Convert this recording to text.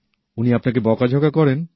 উনি আপনাকে বকাঝকা করেন